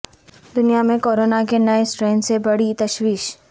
دنیا میں کورونا کے نئے اسٹرین سے بڑھی تشویش